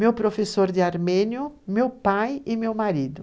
Meu professor de armênio, meu pai e meu marido.